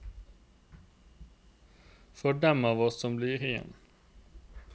For dem av oss som blir igjen.